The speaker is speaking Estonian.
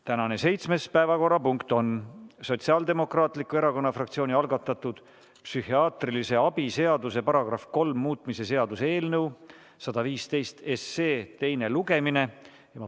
Tänane seitsmes päevakorrapunkt on Sotsiaaldemokraatliku Erakonna fraktsiooni algatatud psühhiaatrilise abi seaduse § 3 muutmise seaduse eelnõu 115 teine lugemine.